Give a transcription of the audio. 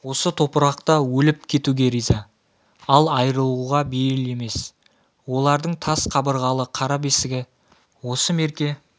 осы топырақта өліп кетуге риза ал айырылуға бейіл емес олардың тас қабырғалы қара бесігі осы мерке